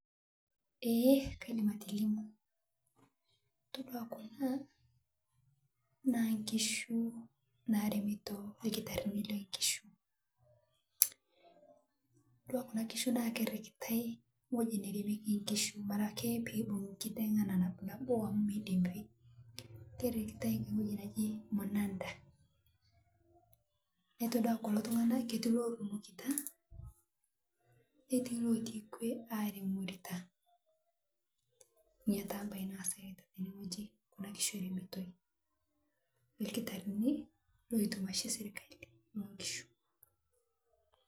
Ee kaidim atolimu yiolo kuna naa nkishu naaremito irkitarrini loonkishu keritai ewueji naji munada